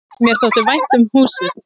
Mér þótti vænt um húsið.